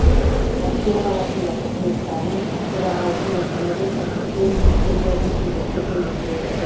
мәскеу қаласында түркіменстанның төрағалығымен тмд сыртқы істер министрлерінің кезекті кеңесі өтті